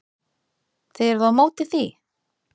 Þið eruð á móti því?